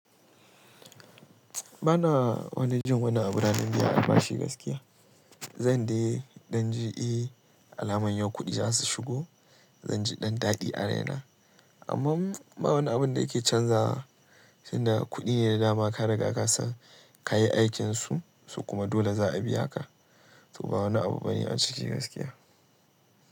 Bana wani jin wani abu ranan biyan albashi gaskiya. Zan dai dan ji eh, alaman yau kuɗi zasu shigo, zan ji ɗan daɗi a raina. Amma ba wani abun da yake canzawa. Tunda kuɗi ne da dama ka riga ka san ka yi aikinsu so kuma dole za a biya ka. To ba wani abu bane a ciki gaskiya.